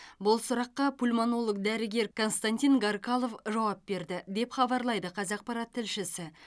бұл сұраққа пульмонолог дәрігер константин гаркалов жауап берді деп хабарлайды қазақпарат тілшісі